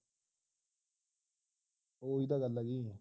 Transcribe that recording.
ਉਹ ਹੀ ਤੇ ਗੱਲ ਹੋਗੀ